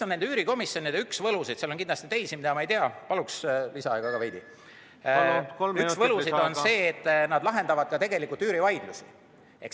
Üks üürikomisjonide võlusid – on kindlasti ka teisi, mida ma ei tea –, aga üks võlusid on see, et nad lahendavad tegelikult üürivaidlusi.